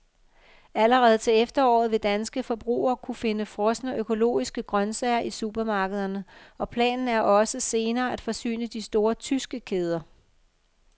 Allerede til efteråret vil danske forbrugere kunne finde frosne økologiske grøntsager i supermarkederne, og planen er også senere at forsyne de store tyske kæder.